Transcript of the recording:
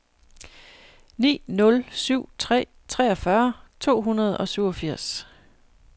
ni nul syv tre treogfyrre to hundrede og syvogfirs